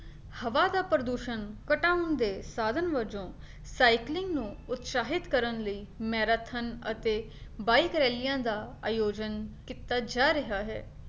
ਹਵਾ ਦਾ ਪ੍ਰਦੂਸ਼ਣ ਘਟਾਉਣ ਦੇ ਸਾਧਨ ਵਜੋਂ cycling ਨੂੰ ਉਤਸ਼ਾਹਿਤ ਕਰਨ ਲਈ ਮੈਰਾਥਨ ਅਤੇ bike ਰੈਲੀਆਂ ਦਾ ਆਯੋਜਨ ਕੀਤਾ ਜਾ ਰਿਹਾ ਹੈ।